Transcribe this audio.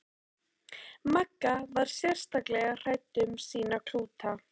Magga var sérstaklega hrædd um sína klúta.